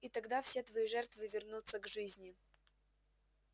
и тогда все твои жертвы вернутся к жизни